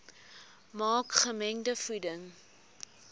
maak gemengde voeding